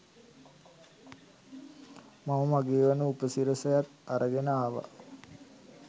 මම මගේවන උපසිරසියත් අරගෙන ආව.